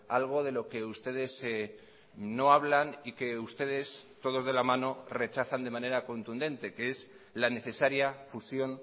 algo de lo que ustedes no hablan y que ustedes todos de la mano rechazan de manera contundente que es la necesaria fusión